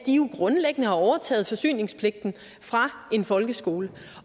jo grundlæggende har overtaget forsyningspligten fra en folkeskole